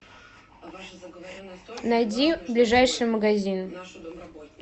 найди ближайший магазин